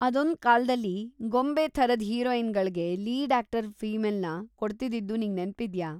ಅದೊಂದ್‌ ಕಾಲ್ದಲ್ಲಿ ಗೊಂಬೆ ಥರದ್ ಹಿರೋಯಿನ್‌ಗಳ್ಗೆ ಲೀಡ್‌ ಆಕ್ಟರ್‌ ಫೀಮೆಲ್‌ನ ಕೊಡ್ತಿದ್ದಿದ್ದು ನಿಂಗ್‌ ನೆನ್ಪಿದ್ಯಾ?